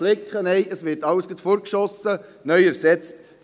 Nein, es wird alles weggeworfen und ersetzt.